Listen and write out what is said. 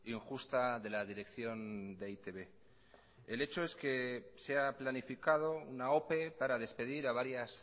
injusta de la dirección de e i te be el hecho es que se ha planificado una ope para despedir a varias